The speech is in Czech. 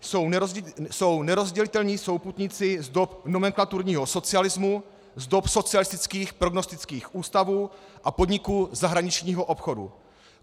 Jsou nerozdělitelní souputníci z dob nomenklaturního socialismu, z dob socialistických prognostických ústavů a podniků zahraničního obchodu.